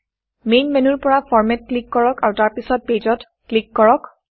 main main মেনুৰ পৰা ফৰমাত ফৰমেটত ক্লিক কৰক আৰু তাৰপিছত Pageপেজ ত ক্লিক কৰক